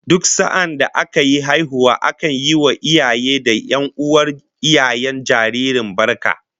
Duk sa'adda aka yi haihuwa akan yi wa iyaye da 'yan'uwan iyayen jaririn barka